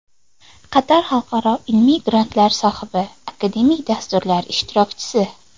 Qator xalqaro ilmiy grantlar sohibi, akademik dasturlar ishtirokchisi.